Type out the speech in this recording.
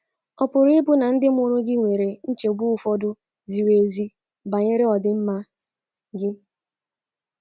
ọ pụrụ ịbụ na ndị mụrụ gị nwere nchegbu ụfọdụ ziri ezi banyere ọdịmma gị?